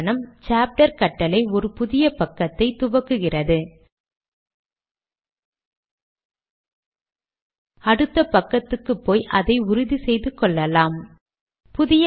லேடக்கில் ஒரு புதிய பத்தியை இப்போது காண்பிப்பது போல் ஒரு வெற்று வரியை கொண்டு துவங்க வேண்டும்